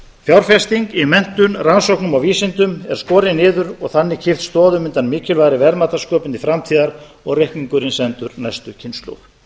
fjárfesting í menntun rannsóknum og vísindum er skorin niður og þannig kippt stoðum undan mikilvægri verðmætasköpun til framtíðar og reikningurinn sendur næstu kynslóð